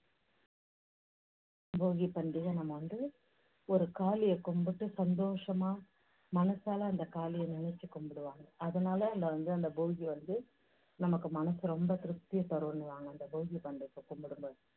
போகிப் பண்டிகை நம்ம வந்து ஒரு காளியை கும்பிட்டு சந்தோஷமா மனசால அந்தக் காளிய நினைச்சு கும்பிடுவாங்க. அதனால அந்த வந்து போகி வந்து நமக்கு மனசு ரொம்ப திருப்தியை தருன்னுவாங்க அந்த போகிப் பண்டிகையை கும்பிடும் போது